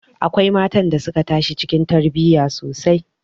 Akwai matan da suka tashi cikin tarbiyya sosai